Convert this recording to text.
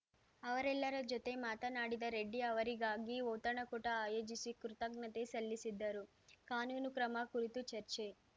ಅವರೆಲ್ಲರ ಜೊತೆ ಮಾತನಾಡಿದ ರೆಡ್ಡಿ ಅವರಿಗಾಗಿ ಔತಣಕೂಟ ಆಯೋಜಿಸಿ ಕೃತಜ್ಞತೆ ಸಲ್ಲಿಸಿದ್ದರು ಕಾನೂನು ಕ್ರಮ ಕುರಿತು ಚರ್ಚೆ